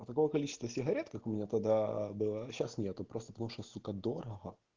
а такое количество сигарет как у меня тогда было сейчас нету просто потому что сука дорого